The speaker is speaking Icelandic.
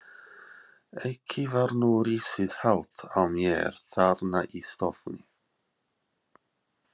Ekki var nú risið hátt á mér þarna í stofunni.